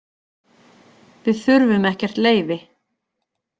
Við þurfum ekkert leyfi.